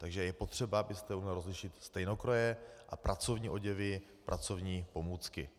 Takže je potřeba, abyste uměl rozlišit stejnokroje a pracovní oděvy, pracovní pomůcky.